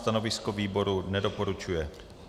Stanovisko výboru - nedoporučuje.